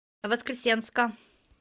воскресенска